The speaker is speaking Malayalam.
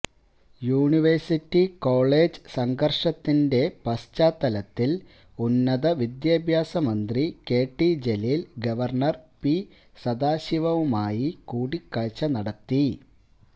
യൂണിവേഴ്സിറ്റി കോളേജ് സംഘര്ഷത്തിന്റെ പശ്ചാത്തലത്തിൽ ഉന്നത വിദ്യാഭ്യാസ മന്ത്രി കെടി ജലീൽ ഗവര്ണര് പി സദാശിവവുമായി കൂടിക്കാഴ്ച നടത്തി